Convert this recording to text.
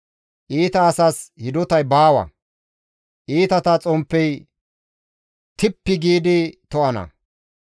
Iita asas hidotay baawa; iitata xomppey tippi giidi to7ana.